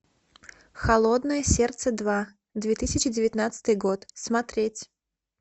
холодное сердце два две тысячи девятнадцатый год смотреть